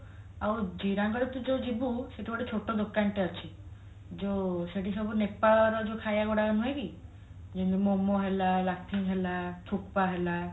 ଆଉ ଜିରାଙ୍ଗ ରେ ତୁ ଯୋଉ ଯିବୁ ସେଠି ଗୋଟେ ଛୋଟ ଦୋକାନ ଟେ ଅଛି ଯୋଉ ସେଠି ସବୁ ନେପାଳର ଯୋଉ ଖାଇବା ଗୁଡାକ ନୁହେକି ଯେମତି ମୋମୋ ହେଲା ହେଲା ହେଲା